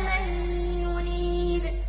مَن يُنِيبُ